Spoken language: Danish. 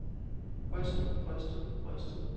rystet rystet rystet